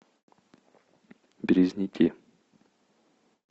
березники